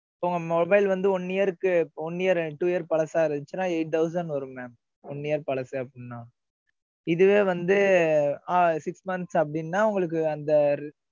உங்க mobile வந்து, one year க்கு, one year, two year பழசா இருந்துச்சுன்னா, eight thousand வரும் mam. one year பழசு, அப்படின்னா. இதுவே வந்து அஹ் six months அப்படின்னா, உங்களுக்கு அந்த,